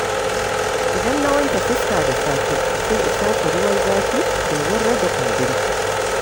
Idan na wanke fuska da safe, sai in shafa ruwan zafi domin rage kumburi.